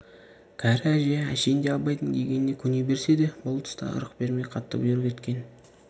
кәрі әже әшейінде абайдың дегеніне көне берсе де бұл тұста ырық бермей қатты бұйрық еткен